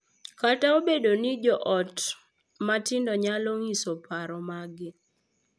Kata obedo ni jo ot matindo nyalo nyiso paro maggi .